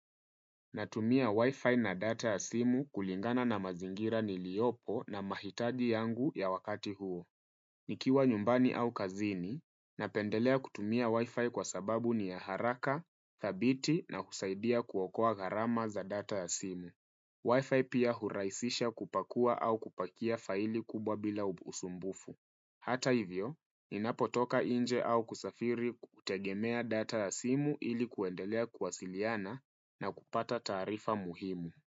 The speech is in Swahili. Natumia Wi-Fi na data ya simu kulingana na mazingira niliopo na mahitaji yangu ya wakati huo. Nikiwa nyumbani au kazini, napendelea kutumia Wi-Fi kwa sababu ni ya haraka, thabiti na husaidia kuokoa garama za data ya simu. Wi-Fi pia huraisisha kupakua au kupakia faili kubwa bila usumbufu. Hata hivyo, ninapotoka nje au kusafiri kutegemea data ya simu ili kuendelea kuwasiliana na kupata taarifa muhimu.